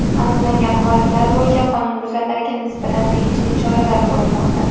Aniqlangan holatlar bo‘yicha qonunbuzarlarga nisbatan tegishli choralar ko‘rilmoqda.